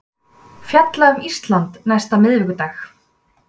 Fjalla um Ísland næsta miðvikudag